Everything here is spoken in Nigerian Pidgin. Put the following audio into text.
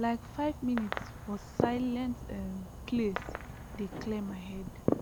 like five minute for silent um place dey clear my head